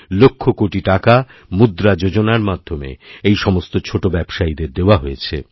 লক্ষকোটি টাকা মুদ্রা যোজনার মাধ্যমে এই সমস্ত ছোটো ব্যবসায়ীদের দেওয়া হয়েছে